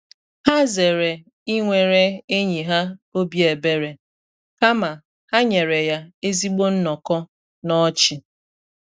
Ha zere ịnwere enyi ha obi ebere, kama ha nyere ya ezigbo nnọkọ na ọchị.